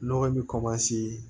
Nɔgɔ in bɛ